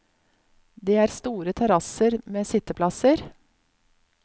Det er store terrasser med sitteplasser.